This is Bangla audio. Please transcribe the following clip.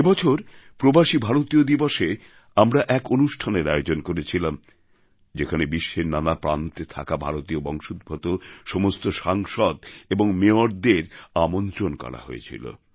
এবছর প্রবাসী ভারতীয় দিবসএ আমরা এক অনুষ্ঠানের আয়োজন করেছিলাম যেখানে বিশ্বের নানা প্রান্তে থাকা ভারতীয় বংশোদ্ভূত সমস্ত সাংসদ এবং মেয়রদের আমন্ত্রণ করা হয়েছিল